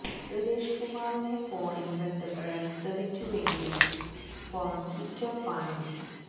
സുരേഷ് കുമാറിനെ ഫോണില് ബന്ധപ്പെടാന് ശ്രമിച്ചുവെങ്കിലും ഫോണ് സ്വിച്ച്ഡ് ഓഫ് ആണ്